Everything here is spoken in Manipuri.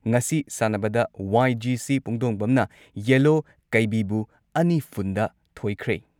ꯉꯁꯤ ꯁꯥꯟꯅꯕꯗ ꯋꯥꯏ.ꯖꯤ.ꯁꯤ ꯄꯨꯡꯗꯣꯡꯕꯝꯅ ꯌꯦꯜꯂꯣ ꯀꯩꯕꯤꯕꯨ ꯑꯅꯤ ꯐꯨꯟꯗ ꯊꯣꯏꯈ꯭ꯔꯦ ꯫